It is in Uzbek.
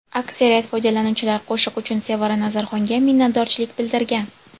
Aksariyat foydalanuvchilar qo‘shiq uchun Sevara Nazarxonga minnatdorchilik bildirgan.